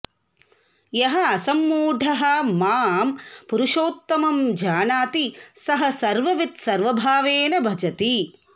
यः असम्मूढः मां पुरुषोत्तमं जानाति सः सर्ववित् सर्वभावेन भजति